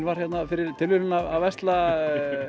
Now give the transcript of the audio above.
var hérna fyrir tilviljun að versla